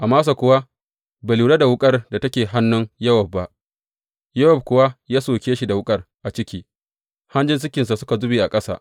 Amasa kuwa bai lura da wuƙar da take hannun Yowab ba, Yowab kuwa ya soke shi da wuƙar a ciki, hanjinsa suka zube ƙasa.